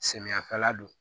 Samiyɛfɛla don